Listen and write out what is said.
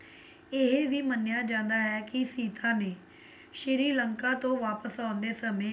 ਇਹ ਵੀ ਮੰਨਿਆ ਜਾਂਦਾ ਹੈ ਕੀ ਸੀਤਾ ਨੇ ਸ਼੍ਰੀ ਲੰਕਾ ਤੋਂ ਵਾਪਸ ਆਉਂਦੇ ਸਮੇਂ